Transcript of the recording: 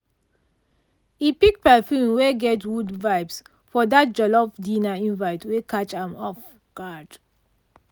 e pick perfume wey get wood vibes for that jollof dinner invite wey catch am off guard.